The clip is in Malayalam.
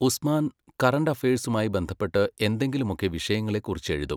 ഉസ്മാൻ കറന്റ് അഫയഴ്സുമായി ബന്ധപ്പെട്ട് എന്തെങ്കിലുമൊക്കെ വിഷയങ്ങളെക്കുറിച്ചെഴുതും.